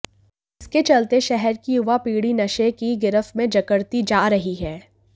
जिसके चलते शहर की युवा पीढ़ी नशे की गिरफ्त में जकड़ती जा रही है